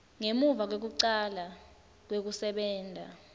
ngemuva kwekucala kwekusebenta